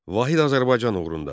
Vahid Azərbaycan uğrunda.